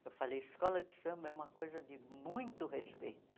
Eu falei, escola de samba é uma coisa de muito respeito.